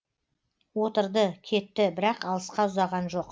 отырды кетті бірақ алысқа ұзаған жоқ